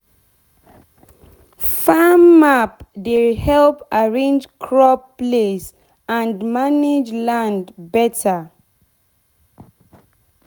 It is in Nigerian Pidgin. farm map dey help arrange crop place and manage land better.